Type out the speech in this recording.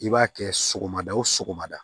I b'a kɛ sɔgɔmada o sɔgɔmada